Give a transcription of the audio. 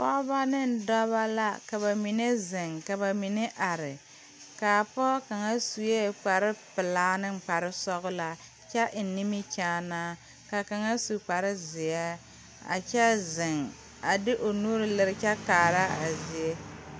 Pɔɔ ne dɔbɔ la ka ba mine zeŋ ka ba mine are kaa pɔɔ kaŋa suee kparepelaa neŋ kparesɔglaa kyɛ eŋ nimikyaanaa kaa kaŋa su kparezeɛ a kyɛ zeŋ a de o nuure liretaa kyɛ kaara a zie.